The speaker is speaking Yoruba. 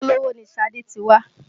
Ìdílé Olówó ni Ṣadé ti wá